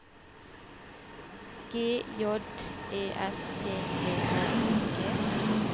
G J E S T V A N G